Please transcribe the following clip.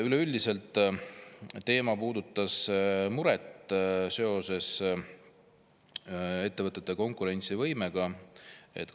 Üleüldiselt puudutab muret ettevõtete konkurentsivõime pärast.